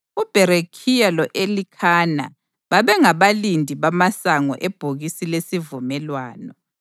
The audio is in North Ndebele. UBherekhiya lo-Elikhana babengabalindi bamasango ebhokisi lesivumelwano,